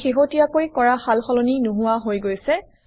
আমি শেহতীয়াকৈ কৰা সাল সলনি নোহোৱা হৈ গৈছে